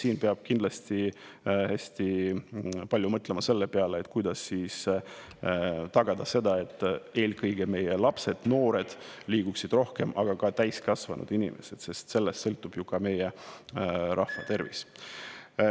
Nii et peab kindlasti hästi palju mõtlema selle peale, kuidas tagada, et eelkõige meie lapsed ja noored, aga ka täiskasvanud inimesed liiguksid rohkem, sest sellest sõltub ju ka meie rahva tervis.